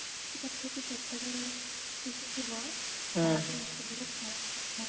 କି ତମେ ଯଦି ପେଟରେ ଶୋଇପଡିଥିବ ଖରାପ ସ୍ଵପ୍ନ